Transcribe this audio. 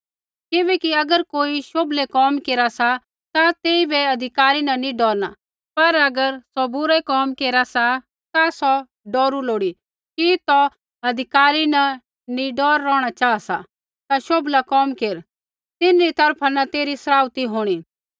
किबैकि अगर कोई शोभलै कोम केरा सा ता तेइबै अधिकारी न नैंई डौरना लेकिन अगर सौ बुरै कोम केरा सा ता सौ डौरू लोड़ी कि तू अधिकारी न निडर रौहणा चाहा सा ता शोभला कोम केर तिन्हरी तरफा न तेरी सराउथी होंणी